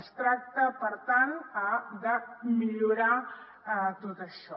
es tracta per tant de millorar tot això